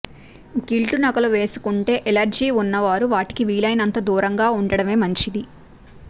గిల్టునగలు వేసుకుంటే ఎలర్జీ ఉన్నవారు వాటికి వీలయినంత దూరంగా ఉండడమే మంచిది